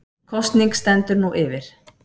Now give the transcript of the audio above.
Kosning stendur nú yfir